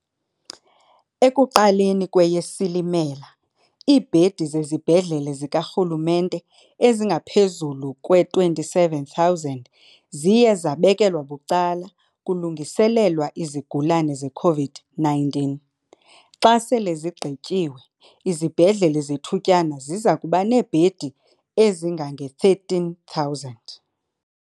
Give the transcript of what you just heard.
Ekuqaleni kweyeSilimela, iibhedi zezibhedlele zikarhulumente ezingaphezulu kwe-27 000 ziye zabekelwa bucala kulungiselelwa izigulane ze-COVID-19 . Xa sele zigqityiwe, izibhedlele zethutyana ziza kuba neebhedi ezingange-13 000.